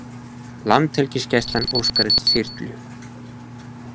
Landhelgisgæslan óskar eftir þyrlu